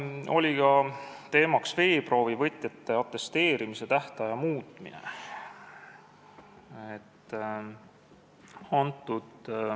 Oli ka teemaks veeproovivõtjate atesteerimise tähtaja muutmine.